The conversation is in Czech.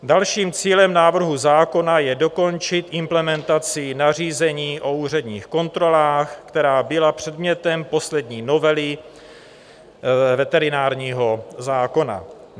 Dalším cílem návrhu zákona je dokončit implementaci nařízení o úředních kontrolách, která byla předmětem poslední novely veterinárního zákona.